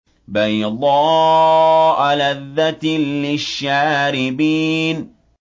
بَيْضَاءَ لَذَّةٍ لِّلشَّارِبِينَ